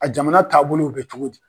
A jamana taabolo bolo bɛ cogo di?